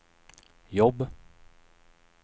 jobb